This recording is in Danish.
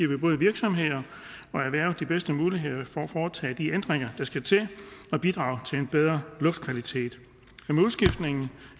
vi både virksomheder og erhverv de bedste muligheder for at foretage de ændringer der skal til og bidrage til en bedre luftkvalitet